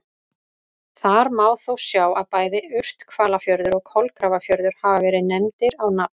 Þar má þó sjá að bæði Urthvalafjörður og Kolgrafafjörður hafa verið nefndir á nafn.